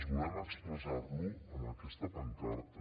expressar lo amb aquesta pancarta